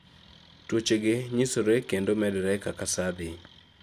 tuoche gi nyisore kendo medore kaka sa dhi